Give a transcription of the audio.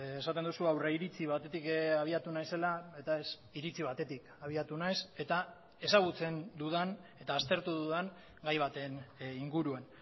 esaten duzu aurriritzi batetik abiatu naizela eta ez iritzi batetik abiatu naiz eta ezagutzen dudan eta aztertu dudan gai baten inguruan